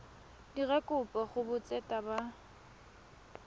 dira kopo go botseta ba